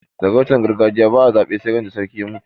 sarautar gargajiya ba a zabe sai ran da sarki ya mutu